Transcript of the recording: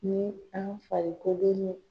Ni an farikolo ɲe.